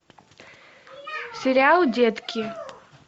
сериал детки